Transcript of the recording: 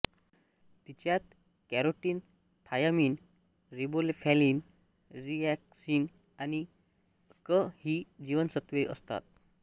तिच्यात carotene thiamine riboflavin niacin आणि क ही जीवनसत्त्वे असतात